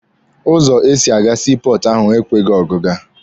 Ụzọ esi aga sii pọọtụ ahụ ekweghị ọgịga.